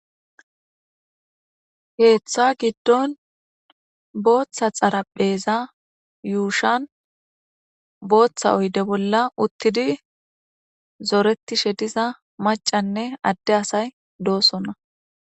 heeththa giddon booththa xarapheza yuushan booththa oyde bolla uttidi zooretishe diza macanne adde asay doosonna